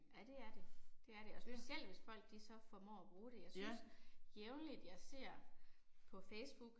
Ja det er det, det er det, og specielt hvis folk de så formår at bruge det. Jeg synes jævnligt jeg ser på Facebook